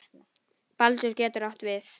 Baldur getur átt við